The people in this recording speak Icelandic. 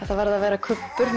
það varð að vera kubbur